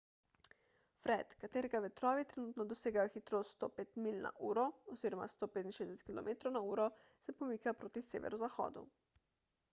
fred katerega vetrovi trenutno dosegajo hitrost 105 milj na uro 165 km/h se pomika proti severozahodu